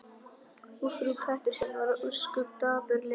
Og frú Pettersson varð ósköp dapurleg í framan.